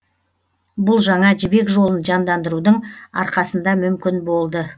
бұл жаңа жібек жолын жандандырудың арқасында мүмкін болды